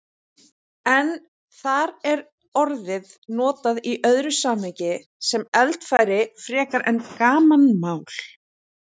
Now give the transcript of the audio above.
En þar er orðið notað í öðru samhengi, sem eldfæri frekar en gamanmál.